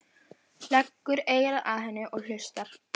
Leggur eyra að henni og hlustar.